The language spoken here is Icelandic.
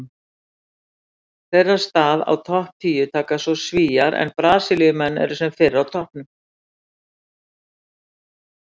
Þeirra stað á topp tíu taka svo Svíar en Brasilíumenn eru sem fyrr á toppnum.